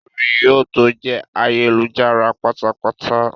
Ìròyìn yóò tó jẹ́ ayélujára pátápátá